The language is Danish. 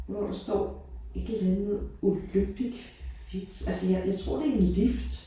Hvor der står et eller andet olympic fit altså jeg jeg tror det en lift